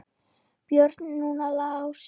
Björn, núna Lási.